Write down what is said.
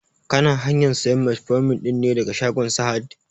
Kana hanyan sayan metformin ɗin ne daga shagon sahad?